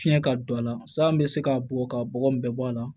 Fiɲɛ ka don a la san bɛ se ka bugɔ ka bɔgɔ in bɛɛ bɔ a la